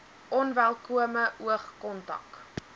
onwelkome oog kontak